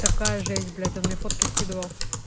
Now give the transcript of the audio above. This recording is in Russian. такая же есть блять он мне фотки скидывал